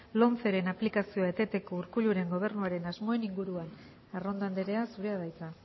lomceren aplikazioa eteteko urkulluren gobernuaren asmoen inguruan arrondo andrea zurea da hitza